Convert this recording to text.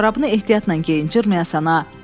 Corabını ehtiyatla geyin cırmayasan ha.